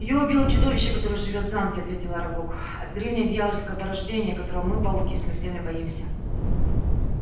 её убило чудовище которое живёт в замке ответил арагог это древнее дьявольское порождение которого мы пауки смертельно боимся